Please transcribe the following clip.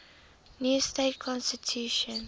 new state constitution